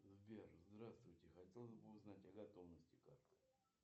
сбер здравствуйте хотелось бы узнать о готовности карты